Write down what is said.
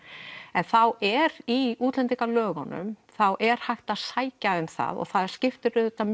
en þá er í útlendingalögunum þá er hægt að sækja um það og það skiptir auðvitað